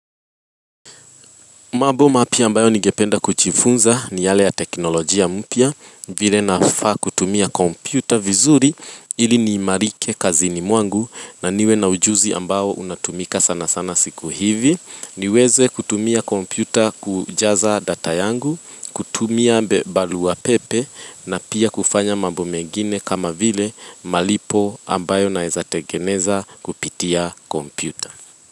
Maboma pia ambayo nigependa kuchifunza ni yale ya teknolojia mpia vile nafa kutumia kompyuta vizuri ili ni marike kazini mwangu na niwe na ujuzi ambayo unatumika sana sana siku hivi. Niweze kutumia kompyuta kujaza data yangu, kutumia mbe balu wa pepe na pia kufanya mabomegine kama vile malipo ambayo naezate geneza kupitia kompyuta.